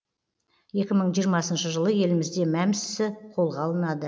екі мың жиырмасыншы жылы елімізде мәмс ісі қолға алынады